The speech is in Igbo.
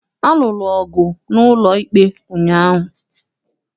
A lụrụ ọgụ n'ụlọikpe ụnyaahụ.